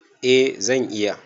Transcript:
Eh zan iya.